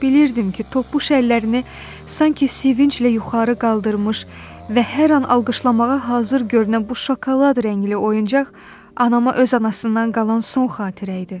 Bilirdim ki, topuş əllərini sanki sevinclə yuxarı qaldırmış və hər an alqışlamağa hazır görünən bu şokolad rəngli oyuncaq anama öz anasından qalan son xatirə idi.